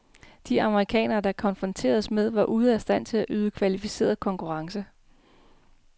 De amerikanere, de konfronteredes med, var ude af stand til at yde kvalificeret konkurrence.